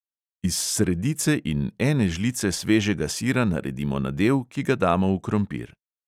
Iz sredice in ene žlice svežega sira naredimo nadev, ki ga damo v krompir.